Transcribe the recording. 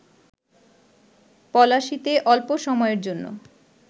পলাশীতে অল্প সময়ের জন্য